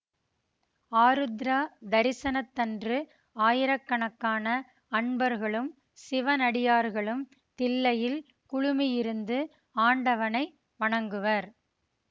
ஆருத்ரா தரிசனத்தன்று ஆயிரக்கணக்கான அன்பர்களும் சிவனடியார்களும் தில்லையில் குழுமியிருந்து ஆண்டவனை வணங்குவர்